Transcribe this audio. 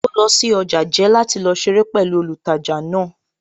Ó lọ sí ọjà jẹ́ láti lọ ṣeré pẹ̀lú olùtajà náà